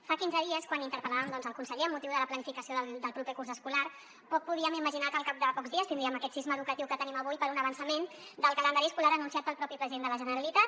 fa quinze dies quan interpel·làvem el conseller amb motiu de la planificació del proper curs escolar poc podíem imaginar que al cap de pocs dies tindríem aquest sisme educatiu que tenim avui per un avançament del calendari escolar anunciat pel propi president de la generalitat